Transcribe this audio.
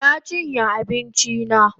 Na chinye abinchi na